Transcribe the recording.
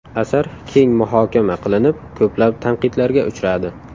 Asar keng muhokama qilinib, ko‘plab tanqidlarga uchradi.